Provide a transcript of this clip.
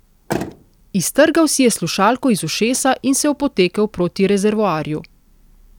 Iztrgal si je slušalko iz ušesa in se opotekel proti rezervoarju.